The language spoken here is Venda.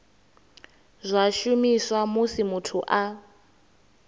zwa shumiswa musi muthu a